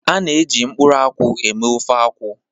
A na-eji mkpụrụ nkwụ eme ofe akwu.